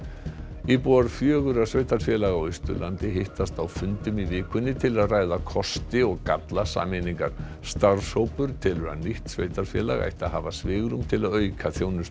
íbúar fjögurra sveitarfélaga á Austurlandi hittast á fundum í vikunni til að ræða kosti og galla sameiningar starfshópur telur að nýtt sveitarfélag ætti hafa svigrúm til að auka þjónustu